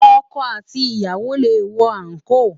Òkò àtí iyàwó lé wò ànkó